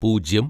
പൂജ്യം